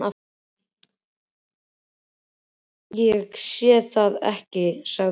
Ég sé það ekki, sagði hún.